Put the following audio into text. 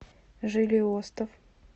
жилиостов